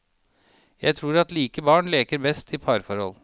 Jeg tror at like barn leker best i parforhold.